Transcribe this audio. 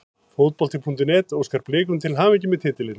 Fótbolti.net óskar Blikum til hamingju með titilinn.